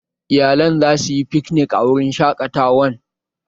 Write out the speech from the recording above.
Iyalan za su yi fiknik a wurin shaƙatawan